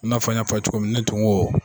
N'a fɔ n y'a f'a ye cogo min ne tun ko